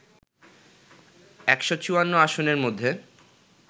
১৫৪ আসনের মধ্যে